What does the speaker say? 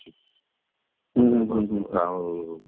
ମନ୍ଦିର ପାଖରୁ ଆଉ